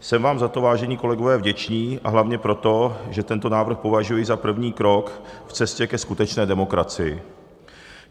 Jsem vám za to, vážení kolegové, vděčný, a hlavně proto, že tento návrh považuji za první krok v cestě ke skutečné demokracii.